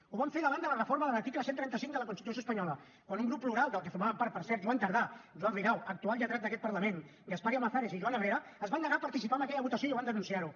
ho vam fer davant de la reforma de l’article cent i trenta cinc de la constitució espanyola quan un grup plural del que formaven part per cert joan tardà joan ridao actual lletrat d’aquest parlament gaspar llamazares i joan herrera es van negar a participar en aquella votació i van denunciar ho